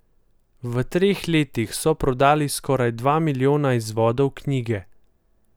V treh letih so prodali skoraj dva milijona izvodov knjige.